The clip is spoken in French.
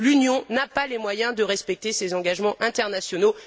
L'Union n'a pas les moyens de respecter ses engagements internationaux